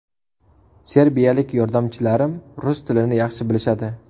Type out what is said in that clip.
Serbiyalik yordamchilarim rus tilini yaxshi bilishadi.